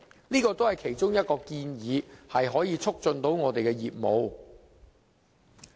這是其中一項可以促進我們業務的建議。